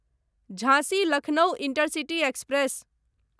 झाँसी Lucknow intercity express